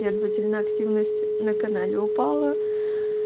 следовательно активность на канале упала